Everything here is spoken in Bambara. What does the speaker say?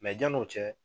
Mɛ yan'o cɛ